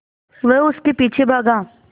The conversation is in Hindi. वह उसके पीछे भागा